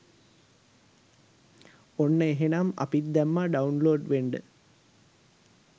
ඔන්න එහෙනම් අපිත් දැම්මා ඩවුන්ලෝඩ් වෙන්ඩ